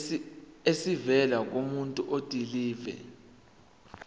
esivela kumuntu odilive